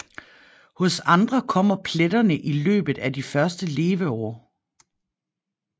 Hos andre kommer pletterne i løbet af de første leveår